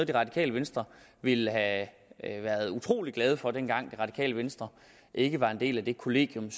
det radikale venstre ville have været utrolig glade for dengang det radikale venstre ikke var en del af det kollegium